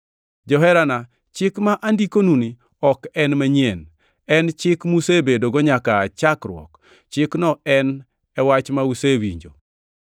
Joherana, chik ma andikonuni ok en manyien. En chik musebedogo nyaka aa chakruok. Chikno en e wach ma usewinjo.